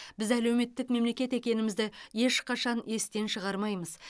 біз әлеуметтік мемлекет екенімізді ешқашан естен шығармаймыз